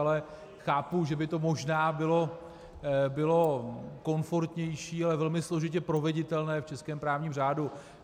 Ale chápu, že by to možná bylo komfortnější, ale velmi složitě proveditelné v českém právním řádu.